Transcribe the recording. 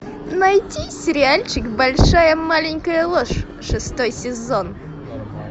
найди сериальчик большая маленькая ложь шестой сезон